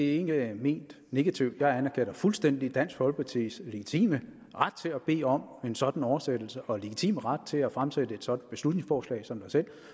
ikke ment negativt jeg anerkender fuldstændig dansk folkepartis legitime ret til at bede om en sådan oversættelse og legitime ret til at fremsætte et sådant beslutningsforslag som